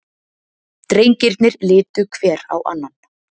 Drengirnir litu hver á annan.